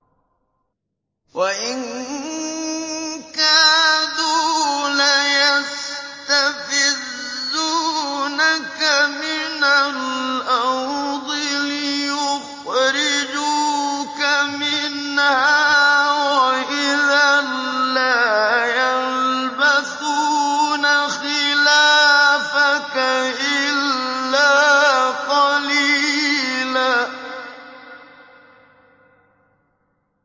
وَإِن كَادُوا لَيَسْتَفِزُّونَكَ مِنَ الْأَرْضِ لِيُخْرِجُوكَ مِنْهَا ۖ وَإِذًا لَّا يَلْبَثُونَ خِلَافَكَ إِلَّا قَلِيلًا